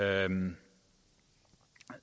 anden